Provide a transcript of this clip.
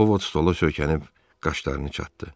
O Vod stola söykənib qaşlarını çattı.